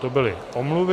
To byly omluvy.